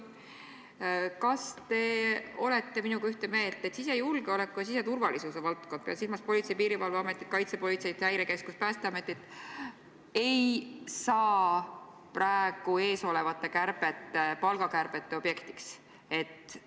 Kas te olete minuga ühte meelt, et sisejulgeoleku ja siseturvalisuse valdkond – pean silmas Poltsei- ja Piirivalveametit, kaitsepolitseid, Häirekeskust ja Päästeametit – ei saa eesolevate palgakärbete objektiks?